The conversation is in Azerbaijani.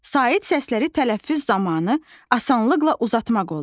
Sait səsləri tələffüz zamanı asanlıqla uzatmaq olur.